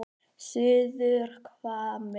Suðurhvammi